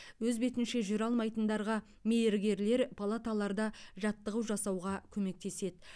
өз бетінше жүре алмайтындарға мейіргерлер палаталарда жаттығу жасауға көмектеседі